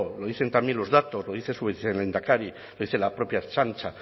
lo dicen también los datos lo dice su vicelehendakari lo dice la propia ertzaintza